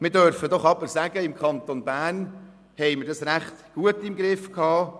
Wir dürfen aber doch sagen, dass wir es im Kanton Bern recht gut im Griff hatten.